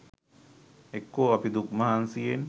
එක්කෝ අපි දුක් මහන්සියෙන්